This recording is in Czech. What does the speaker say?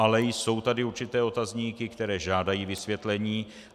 Ale jsou tady určité otazníky, které žádají vysvětlení.